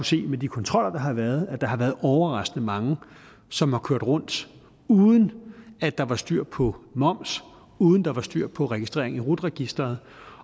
se med de kontroller der har været at der har været overraskende mange som har kørt rundt uden at der var styr på moms uden at der var styr på registrering i rut registeret